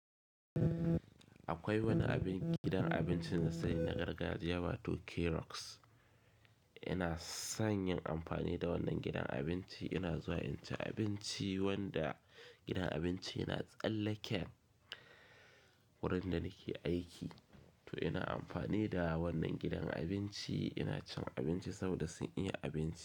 Akwai wani abin gidan abinci na sani na gargajiya wato Carox. Ina son yin amfani da wannan gidan abinci, ina zuwa inci abinci, wanda gidan abinci yana tsallaken wurin da nake aiki. To ina amfani da wannan gidan abinci ina cin abinci saboda sun iya abinci.